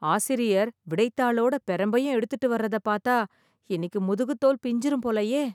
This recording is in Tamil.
ஆசிரியர் விடைத் தாளோட பிரம்பையும் எடுத்துட்டு வர்றத பாத்தா, இன்னிக்கு முதுகுத் தோல் பிஞ்சுரும் போலயே.